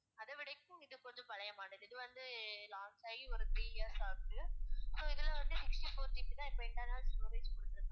அதைவிட இப்போ இது கொஞ்சம் பழைய model இது வந்து last ஆகி ஒரு three years ஆகுது so இதுல வந்து sixty four GB தான் இப்ப internal storage குடுத்திருக்காங்க